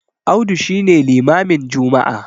Audu shi ne limamin Juma'a